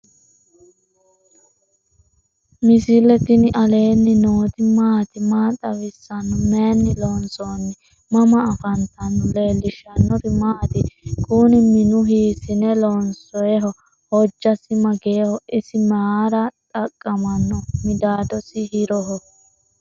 misile tini alenni nooti maati? maa xawissanno? Maayinni loonisoonni? mama affanttanno? leelishanori maati? kuuni minu hisine lonsoyiho? hojasi mageho? isi mara xaqamaho? midadosi hiroho?